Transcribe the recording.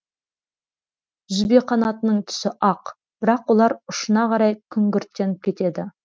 жүзбеқанатының түсі ақ бірақ олар ұшына қарай күңгірттеніп кетеді